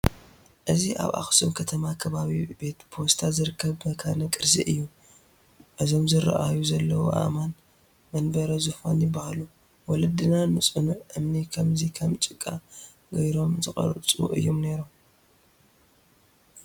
እዚ ኣብ ኣኽሱም ከተማ ከባቢ ቤት ፖስታ ዝርከብ መካነ ቅርሲ እዩ፡፡ እዞም ዝርአዩ ዘለዉ ኣእማን መንበረ ዙፋን ይሃሉ፡፡ ወለድና ንፅኑዕ እምኒ ከምዚ ከም ጭቃ ገይሮም ዝቐርፁ እዮም ነይሮም፡፡